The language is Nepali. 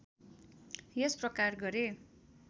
यस प्रकार गरे